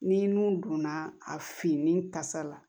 Ni nun donna a finnen tasa la